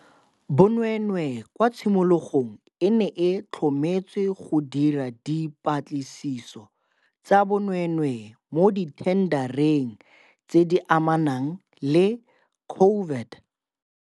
Bonweenwee kwa tshimologong e ne e tlhometswe go dira dipa tlisiso tsa bonweenwee mo dithendareng tse di amanang le COVID.